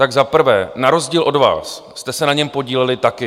Tak za prvé, na rozdíl od vás jste se na něm podíleli taky.